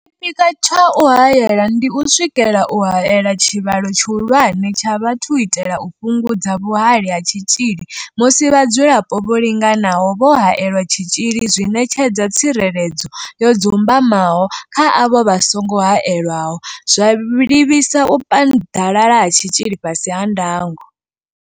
Tshipikwa tsha u haela ndi u swikelela u haela tshivhalo tshihulwane tsha vhathu u itela u fhungudza vhuhali ha tshitzhili musi vhadzulapo vho linganaho vho haelelwa tshitzhili zwi ṋetshedza tsireledzo yo dzumbamaho kha avho vha songo haelwaho, zwa livhisa u paḓalala ha tshitzhili fhasi ha ndango.